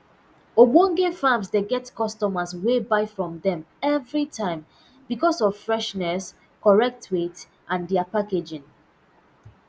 ogbonge farms dey get customers wey buy from dem evri time becos of freshness correct weight and dia packaging